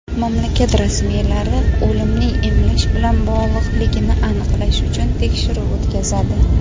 mamlakat rasmiylari o‘limning emlash bilan bog‘liqligini aniqlash uchun tekshiruv o‘tkazadi.